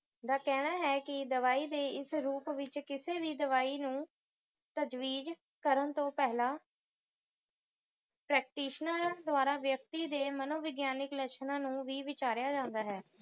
ਦਾ ਕਹਿਣਾ ਹੈ ਕਿ ਦਵਾਈ ਦੇ ਇਸ ਰੂਪ ਵਿਚ ਕਿਸੇ ਵੀ ਦਵਾਈ ਨੂੰ ਪ੍ਰਜਵੀਜ ਕਰਨ ਤੋਂ ਪਹਿਲਾਂ practitioner ਦੁਆਰਾ ਵਿਅਕਤੀ ਦੇ ਮਨੋਵਿਗਿਆਨਿਕ ਲੱਛਣਾਂ ਨੂੰ ਵੀ ਵਿਚਾਰਿਆ ਜਾਂਦਾਂ ਹੈ